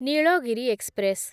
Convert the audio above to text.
Nilgiri express